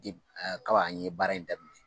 Kabi an ye baara in daminɛ